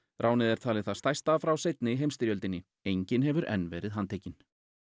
ránið er talið það stærsta frá seinni heimsstyrjöldinni enginn hefur enn verið handtekinn